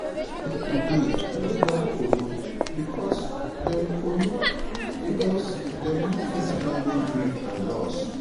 Pipo dey wey don kolo because dem kolo because dem no fit handle grief and loss